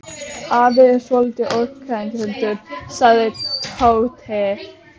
Afi er svolítið öfgakenndur sagði Tóti.